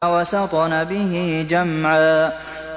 فَوَسَطْنَ بِهِ جَمْعًا